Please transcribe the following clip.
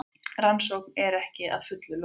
Rannsókn er ekki að fullu lokið